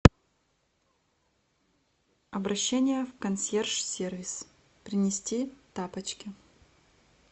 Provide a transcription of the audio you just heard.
обращение в консьерж сервис принести тапочки